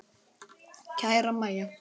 Kæra Mæja.